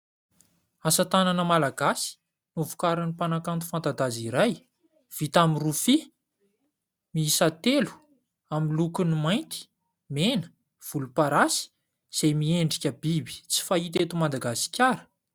Asa tanana malagasy novokarin'ny mpanakanto fanta-daza iray, vita amin'ny rofia, miisa telo amin'ny lokony : mainty, mena, volomparasy, izay miendrika biby tsy fahita eto Madagasikara.